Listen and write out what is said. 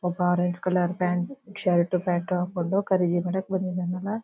ಒಬ್ಬ orange colour pant shirt pant ಹಾಕೊಂಡು ಖರೀದಿ ಮಾಡಲಿಕ್ಕೆ ಬಂದಿದ್ದಾನಲ್ಲಾ.